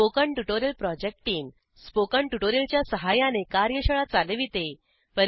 spoken tutorial project team spoken tutorial च्या सहाय्याने कार्यशाळा चालविते